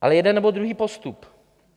Ale jeden, nebo druhý postup.